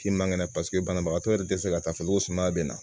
K'i man kɛnɛ paseke banabagatɔ yɛrɛ tɛ se ka taa fɔ ko sumaya bɛ na